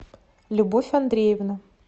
любовь андреевна